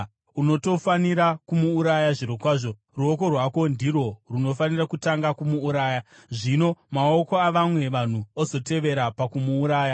Unotofanira kumuuraya zvirokwazvo. Ruoko rwako ndirwo runofanira kutanga kumuuraya, zvino maoko avamwe vanhu ozotevera pakumuuraya.